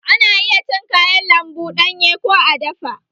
Ana iya cin kayan lambu ɗanye ko a dafa